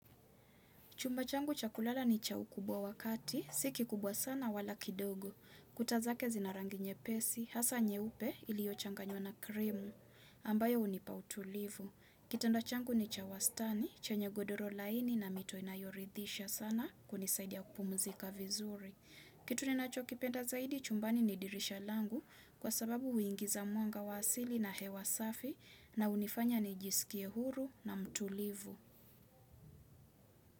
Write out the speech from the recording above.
Chumba changu cha kulala ni cha ukubwa wa kati, si kikubwa sana wala kidogo. Kuta zake zina rangi nyepesi, hasa nyeupe iliyochanganywa na krimu, ambayo hunipa utulivu. Kitanda changu ni cha wastani, chenye godoro laini na mito inayoridhisha sana kunisaidia kupumuzika vizuri. Kitu ninachokipenda zaidi chumbani ni dirisha langu kwa sababu huingiza mwanga wa asili na hewa safi na hunifanya nijisikie huru na mtulivu.